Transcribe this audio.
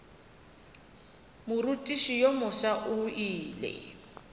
morutiši yo mofsa o ile